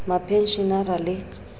k h r mapenshenara le